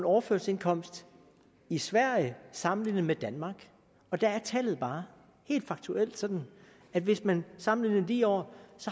overførselsindkomst i sverige sammenlignet med danmark og der er tallet bare helt faktuelt sådan at hvis man sammenligner lige over